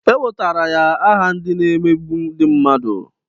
E wetara ya aha ndị na-emegbu ndị mmadụ.